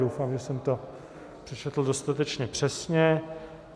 Doufám, že jsem to přečetl dostatečně přesně.